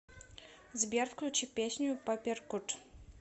сбер включи песню паперкут